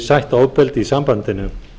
sætt ofbeldi í sambandinu